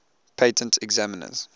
patent examiners